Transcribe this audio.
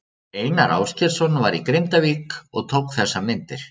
Einar Ásgeirsson var í Grindavík og tók þessar myndir.